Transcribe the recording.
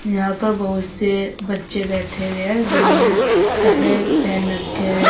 यहां पर बहोत से बच्चे बैठे हुए हैं जिन्होंने कपड़े पहन रखे हुए हैं।